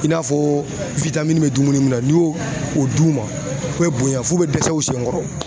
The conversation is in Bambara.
I n'a fɔ bɛ dumuni munnu na n'i y'o o d'u ma, u bɛ bonya f'u bɛ dɛsɛ u sen kɔrɔ.